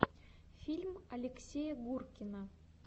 фильм алексея гуркина